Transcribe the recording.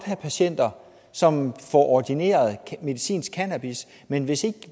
have patienter som får ordineret medicinsk cannabis men hvis ikke